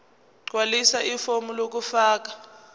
gqwalisa ifomu lokufaka